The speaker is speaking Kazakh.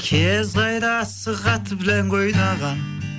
кез қайда асық атып ләңгі ойнаған